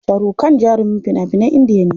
Sharukhan jarumin fina finan Indiya ne.